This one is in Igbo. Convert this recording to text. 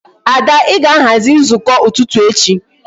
Ada I ga-aghazi nzukọ ụtụtụ echi